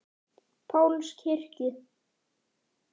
Páls kirkju.